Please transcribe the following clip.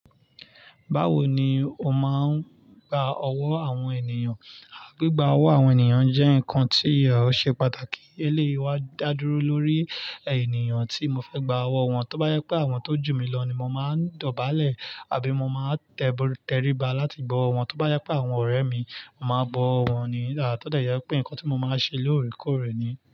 Báwo ni o máa ń gba ọwọ́ àwọn ènìyàn? Á gba ọwọ́ àwọn ènìyàn jẹ́ nǹkan tí a ó ṣe pàtàkì. Eléyìí wá dá dúró lórí ènìyàn tí mo fẹ́ gba ọwọ́ wọn. Tóbá jẹ pé àwọn tó jù mí lọ ni mo máa ń dọ̀bálẹ̀ àbí mo máa ń tẹríba láti gbọ́ wọn. Tóbá yẹ pé àwọn ọ̀rẹ́ mi, mo máa ń bọ́ wọn ní. Nígbà tó dẹ jẹ́ pé nǹkan tí mo máa ń ṣe lóòrèkóòrè ni.